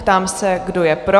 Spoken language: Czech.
Ptám se, kdo je pro?